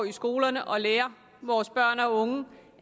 i skolerne og lære vores børn og unge